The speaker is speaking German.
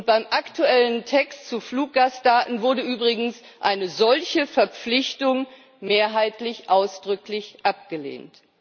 Beim aktuellen Text zu Fluggastdaten wurde übrigens eine solche Verpflichtung mehrheitlich ausdrücklich abgelehnt.